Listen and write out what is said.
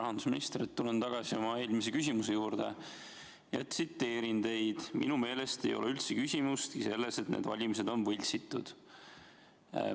Rahandusminister, tulen tagasi oma eelmise küsimuse juurde ja tsiteerin teid: "Minu meelest ei ole üldse küsimustki selles, et need valimised on võltsitud.